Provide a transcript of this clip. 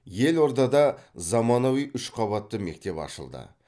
елордада заманауи үш қабатты мектеп ашылды